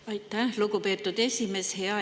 Aitäh, lugupeetud esimees!